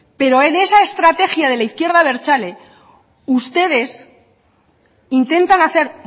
pero en esa estrategia de la izquierda abertzale ustedes intentan hacer